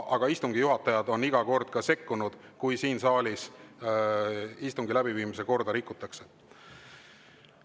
Aga istungi juhatajad on iga kord sekkunud, kui siin saalis on istungi läbiviimise korda rikutud.